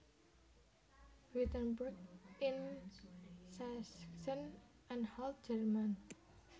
Wittenberg ing Sachsen Anhalt Jèrman